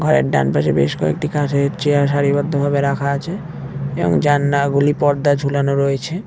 ঘরের ডান পাশে বেশ কয়েকটি কাঠের চেয়ার সারিবদ্ধ ভাবে রাখা আছে এবং জানলাগুলি পর্দা ঝুলানো রয়েছে।